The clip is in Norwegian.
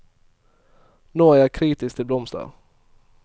Nå er jeg kritisk til blomster.